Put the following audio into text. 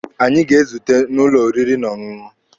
Anyị ga-ezute n'ụlọ oriri na ọṅụṅụ.